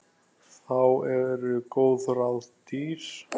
Þá eru góð ráð dýr.